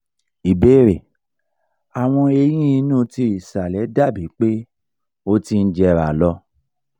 ìbéèrè: awọn eyín inú ti ìsàlẹ̀ dabi pe o ti ń jera lo